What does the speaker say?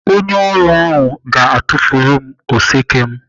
Onye ọrụ ahụ ga-atufu oseke m.